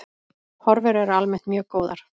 Horfur eru almennt mjög góðar.